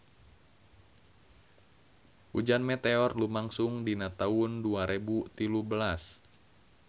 Hujan meteor lumangsung dina taun dua rebu tilu belas